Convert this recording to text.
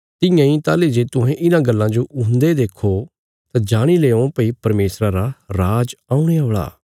तियां इ ताहली जे तुहें इन्हां गल्लां जो हुन्दे देखो तां जाणी लेओं भई परमेशरा रा राज औणे औल़ा